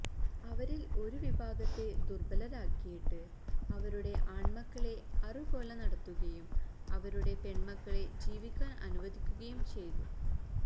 അവരിൽ ഒരു വിഭാഗത്തെ ദുർബലരാക്കിയിട്ട് അവരുടെ ആൺമക്കളെ അറുകൊല നടത്തുകയും അവരുടെ പെൺമക്കളെ ജീവിക്കാൻ അനുവദിക്കുകയും ചെയ്തു